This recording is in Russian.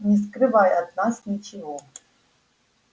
не скрывай от нас ничего